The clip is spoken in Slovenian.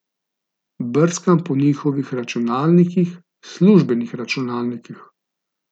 Brskam po njihovih računalnikih, službenih računalnikih.